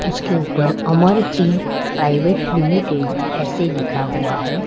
उसके ऊपर Amar T private limited ऐसे लिखा हुआ है।